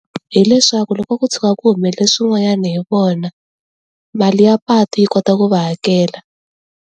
Hi leswaku loko ko tshuka ku humelele swin'wanyana hi vona, mali ya patu yi kota ku va hakela.